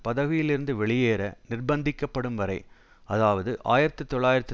பதவியில் இருந்து வெளியேற நிர்பந்திக்கப்படும் வரை அதாவது ஆயிரத்தி தொள்ளாயிரத்து